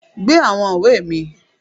Gbé àwọn ìwé mi